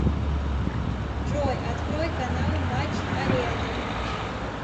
джой открой канал матч арена